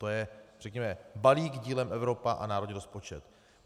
To je řekněme balík dílem Evropa a národní rozpočet.